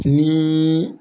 Ni